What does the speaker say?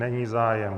Není zájem.